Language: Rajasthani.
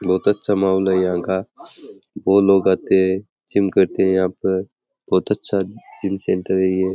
बहुत अच्छा महोल है यहा का बहुत लोग आते हैं जिम करते है यहां पे बहुत अच्छा जिम सेंटर है ये।